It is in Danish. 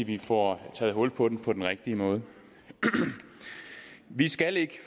vi får taget hul på den på den rigtige måde vi skal ikke